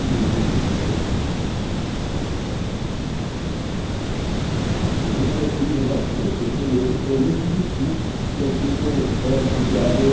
E, inclusive, eu tive, nesse período, foi muito difícil, porque eu tive uma espécie de á vê.